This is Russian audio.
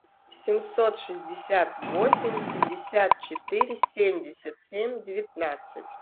семьсот шестьдесят восемь пятьдесят четыре семьдесят семь девятнадцать